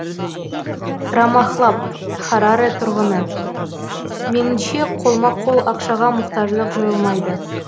рамахлаб хараре тұрғыны меніңше қолма қол ақшаға мұқтаждық жойылмайды